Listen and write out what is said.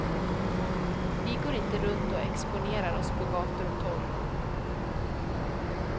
Vi går inte runt och exponerar oss på gator och torg.